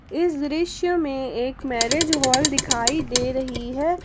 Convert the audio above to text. इस दृश्य में एक मैरिज हॉल दिखाई दे रही है।